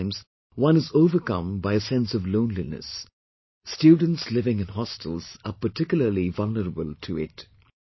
Sometimes one is overcome by a sense of loneliness students living in hostels are particularly vulnerable to it